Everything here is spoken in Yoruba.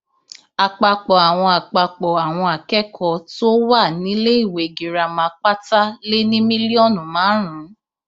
àpapọ àwọn àpapọ àwọn akẹkọọ tó wà níléèwé girama pátá lé ní mílíọnù márùnún